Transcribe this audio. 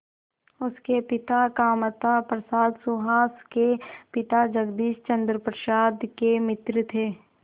उसके पिता कामता प्रसाद सुहास के पिता जगदीश चंद्र प्रसाद के मित्र थे